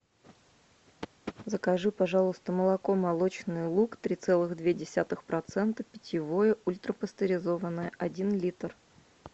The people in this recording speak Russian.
закажи пожалуйста молоко молочный луг три целых две десятых процента питьевое ультрапастеризованное один литр